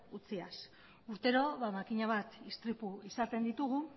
utziaz urtero makina bat istripu izaten ditugu